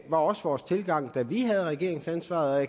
var også vores tilgang da vi havde regeringsansvaret